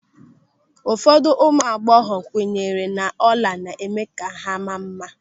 Ụfọdụ ụmụ agbọghọ kwenyere n'ọla na-eme ka ha maa mma.